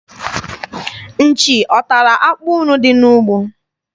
Nchi ọ tara akpụ unu dị n'ugbo?